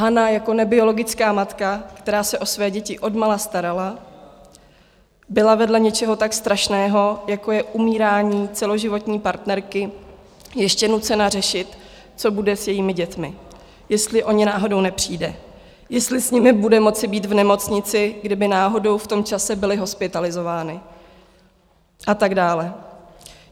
Hana jako nebiologická matka, která se o své děti odmala starala, byla vedle něčeho tak strašného, jako je umírání celoživotní partnerky, ještě nucena řešit, co bude s jejími dětmi, jestli o ně náhodou nepřijde, jestli s nimi bude moci být v nemocnici, kdyby náhodou v tom čase byly hospitalizovány, a tak dále.